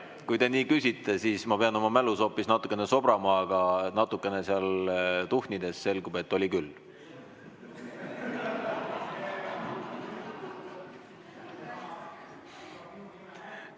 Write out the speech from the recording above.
Kui te nii küsite, siis ma pean oma mälus hoopis natukene sobrama, aga natukene seal tuhnides selgub, et oli küll.